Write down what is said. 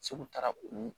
Segu taara ko